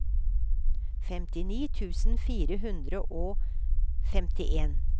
femtini tusen fire hundre og femtien